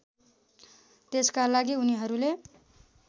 त्यसका लागि उनीहरूले